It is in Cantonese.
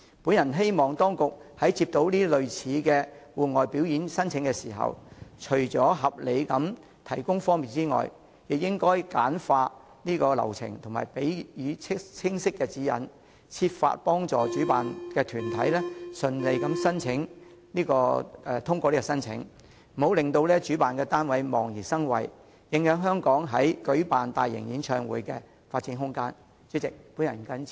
我希望當局在接獲類似的戶外表演申請時，除了合理地提供方便外，亦應簡化流程及給予清晰指引，設法協助主辦團體順利通過申請，不要令主辦團體對申請手續望而生畏，影響香港在舉辦大型演唱會方面的發展空間。